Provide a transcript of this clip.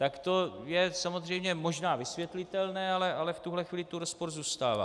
Tak to je samozřejmě možná vysvětlitelné, ale v tuto chvíli tu rozpor zůstává.